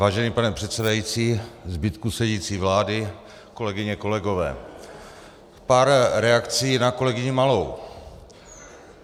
Vážený pane předsedající, zbytku sedící vlády, kolegyně, kolegové, pár reakcí na kolegyni Malou.